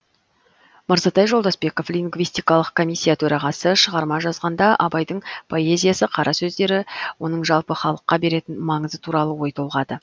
мырзатай жолдасбеков лингвистикалық комиссия төрағасы шығарма жазғанда абайдың поэзиясы қара сөздері оның жалпы халыққа беретін маңызы туралы ой толғады